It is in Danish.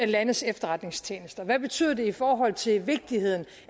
landes efterretningstjenester hvad betyder det i forhold til vigtigheden